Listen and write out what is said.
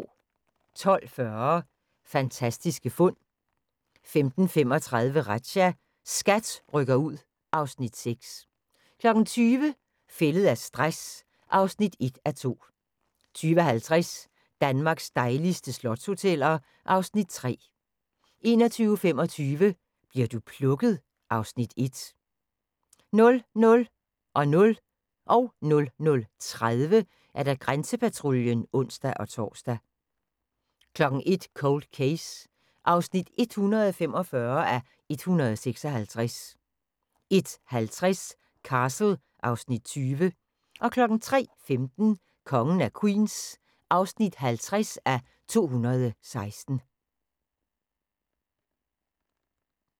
12:40: Fantastiske fund 15:35: Razzia – SKAT rykker ud (Afs. 6) 20:00: Fældet af stress (1:2) 20:50: Danmarks dejligste slotshoteller (Afs. 3) 21:25: Bli'r du plukket? (Afs. 1) 00:00: Grænsepatruljen (ons-tor) 00:30: Grænsepatruljen (ons-tor) 01:00: Cold Case (145:156) 01:50: Castle (Afs. 20) 03:15: Kongen af Queens (50:216)